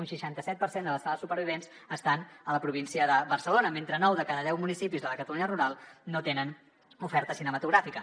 un seixanta set per cent de les sales supervivents estan a la província de barcelona mentre que nou de cada deu municipis de la catalunya rural no tenen oferta cinematogràfica